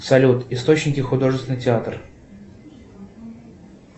салют источники художественный театр